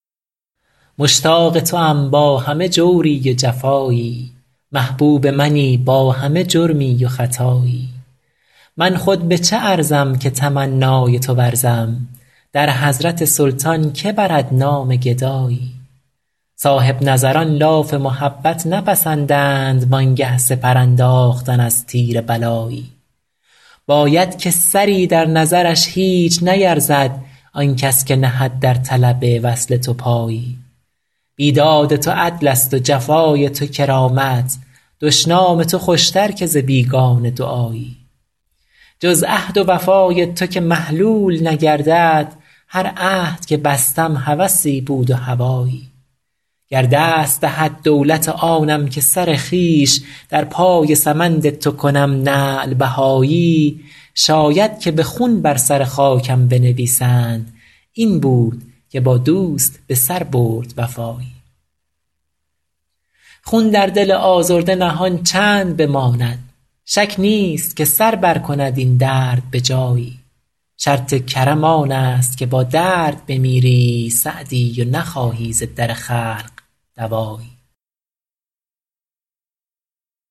مشتاق توام با همه جوری و جفایی محبوب منی با همه جرمی و خطایی من خود به چه ارزم که تمنای تو ورزم در حضرت سلطان که برد نام گدایی صاحب نظران لاف محبت نپسندند وان گه سپر انداختن از تیر بلایی باید که سری در نظرش هیچ نیرزد آن کس که نهد در طلب وصل تو پایی بیداد تو عدلست و جفای تو کرامت دشنام تو خوشتر که ز بیگانه دعایی جز عهد و وفای تو که محلول نگردد هر عهد که بستم هوسی بود و هوایی گر دست دهد دولت آنم که سر خویش در پای سمند تو کنم نعل بهایی شاید که به خون بر سر خاکم بنویسند این بود که با دوست به سر برد وفایی خون در دل آزرده نهان چند بماند شک نیست که سر برکند این درد به جایی شرط کرم آنست که با درد بمیری سعدی و نخواهی ز در خلق دوایی